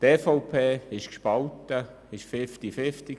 Die EVP-Fraktion ist gespalten.